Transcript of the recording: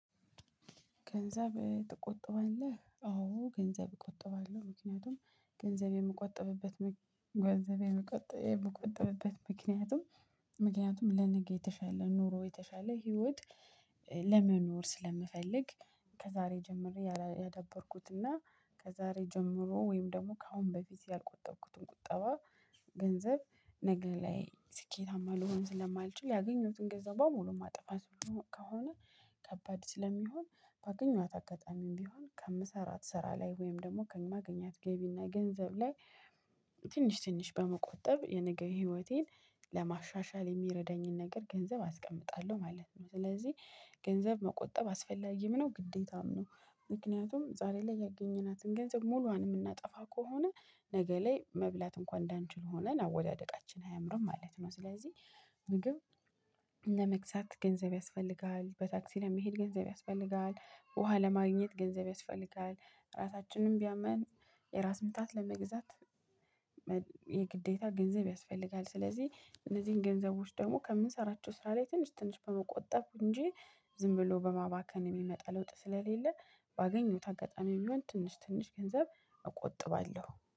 ገንዘብ ትቆጠባለህ አዎ ገንዘብ እቆጠባለሁ ምክንያቱም ገንዘብ የምቆጥብበት ገንዘብ የምቆጥብበት ምክንያቱም ምክንያቱም ለነገ የተሻለ ኑሮ የተሻለ ህይወት ለመኖር ስለምፈልግ። ከዛሬ ጀምሬ ያዳበርኩትና ከዛሬ ጀምሮ ወይም ደግሞ ከአሁን በፊት ያልቆጠብኩትን ቁጠባ። ገንዘብ ነገ ላይ ስኬታማ ልሆን ስለማልችል ያገኘሁትን ገንዘብ በሙሉ ማጥፋት። ከሆነ ከባድ ስለሚሆን በአገኘኋት አጋጣሚም ቢሆን ከአምስት አራት ስራ ላይ ወይም ደግሞ ከማግኘት ገቢ እና ገንዘብ ላይ ትንሽ ትንሽ በመቆጠብ የነገ ህይወቴን ለማሻሻል የሚረዳኝን ነገር ገንዘብ አስቀምጣለሁ ማለት ነው። ስለዚህ ገንዘብ መቆጠብ አስፈላጊም ነው ግዴታም ነው። ምክንያቱም ዛሬ ላይ ያገኘናትን ገንዘብ ሙሉዋን የምናጠፋ ከሆነ ነገ ላይ መብላት እንኳን እንዳንችል ሆነን አወዳደቃችን አያምርም ማለት ነው። ስለዚህ ምግብ ለመግዛት ገንዘብ ያስፈልጋል በታክሲ ለመሄድ ገንዘብ ያስፈልጋል ውሃ ለማግኘት ገንዘብ ያስፈልጋል። ራሳችንን ቢያመን የራስ ምታት ለመግዛት የግዴታ ገንዘብ ያስፈልጋል። ስለዚህ እነዚህን ገንዘቦች ደግሞ ከምንሰራቸው ስራ ላይ ትንሽ ትንሽ በመቆጠብ እንጂ ዝም ብሎ በማባከን የሚመጣ ለውጥ ስለሌለ ባገኘውት አጋጣሚ የሆነ ትንሽ ትንሽ ገንዘብ እቆጥባለሁ